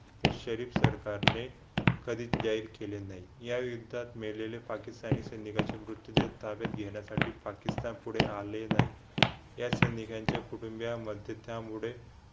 शरीफ सरकारने कधी जाहीर केले नाही या युद्धात मेलेले पाकिस्तानी सैनिकाचे मृत्युदर ताब्यात घेण्यासाठी पाकिस्तान पुढे आले नाही या सैनिकांच्या कुटुंबीयांमध्ये त्यामुळे